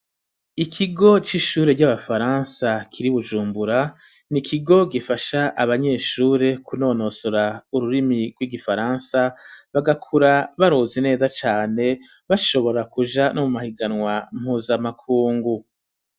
Ikigo c'ishure ry'abafaransa kiri bujumbura, n'ikigo gifasha abanyeshure kunonosora ururimi rw'igifaransa bagakura baruze neza cane bashobora kuja no mu mahiganwa mpuzamakungu.